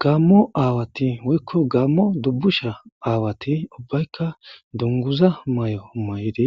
Gamo awatti woyikko Gamo dubushsha awatti ubbayikka duniguza mayo mayidd